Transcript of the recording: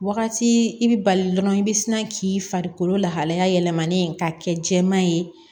Wagati i bɛ bali dɔrɔn i bɛ sina k'i farikolo lahalaya yɛlɛmalen k'a kɛ jɛman ye